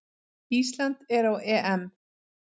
Ísland er á EM!